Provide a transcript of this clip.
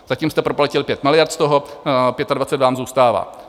Zatím jste proplatili 5 miliard, z toho 25 vám zůstává.